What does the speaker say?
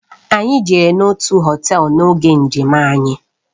Anyị jere n'otu họtel n'oge njem anyị.